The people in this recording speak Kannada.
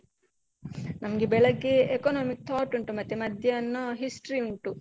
ನಮ್ಗೆ ಬೆಳಗ್ಗೆ economic thought ಉಂಟು ಮತ್ತೆ ಮಧ್ಯಾನ history ಉಂಟು.